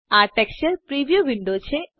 આ texture preview window છે